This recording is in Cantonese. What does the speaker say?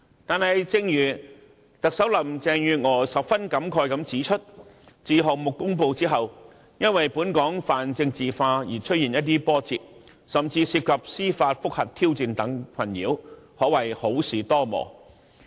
但是，正如特首林鄭月娥十分感慨地指出，自項目公布後，因本港泛政治化的環境而出現一些波折，甚至面對司法覆核等挑戰的困擾，可謂好事多磨。